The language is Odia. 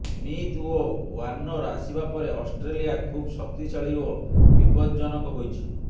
ସ୍ମିଥ ଓ ୱାର୍ଣ୍ଣର ଆସିବା ପରେ ଅଷ୍ଟ୍ରେଲିଆ ଖୁବ ଶକ୍ତିଶାଳୀ ଓ ବିପଦଜ୍ଜନକ ହୋଇଛି